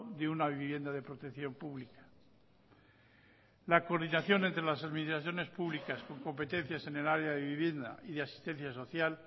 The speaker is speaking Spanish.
de una vivienda de protección pública la coordinación entre las administraciones públicas con competencias en el área de vivienda y de asistencia social